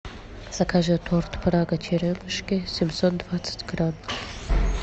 закажи торт прага черемушки семьсот двадцать грамм